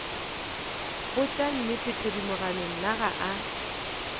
botša nnete thedimogane nna ga